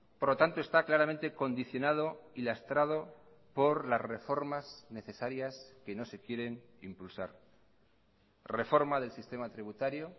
por lo tanto está claramente condicionado y lastrado por las reformas necesarias que no se quieren impulsar reforma del sistema tributario